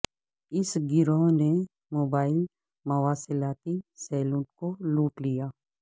اس گروہ نے موبائل مواصلاتی سیلون کو لوٹ لیا